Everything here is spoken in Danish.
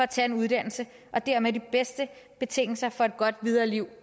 tage en uddannelse og dermed de bedste betingelser for et godt videre liv